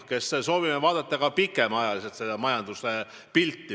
Me soovime vaadata majanduse pilti pikemaks perioodiks ette.